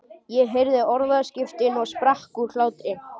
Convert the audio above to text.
Ég heyrði orðaskiptin og sprakk úr hlátri.